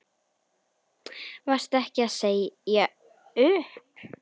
Varstu ekki að segja upp?